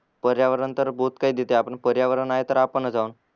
पर्यावरण तर बोहत काही देते आपण पर्यावरण आहे तर आपणच आहो न